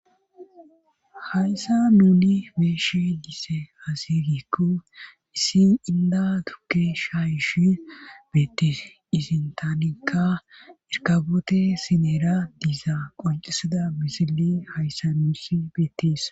Hayssa nuni be7ishi diza aaze giikko issi inda tukke shayishi beettis izi sintaanikka irkaboote sineera diiza qoncisida misili hayssa nuusi beettis